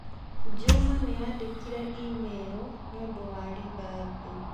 Juma nĩandĩkĩire i-mīrū nĩũndũ wa rithathi.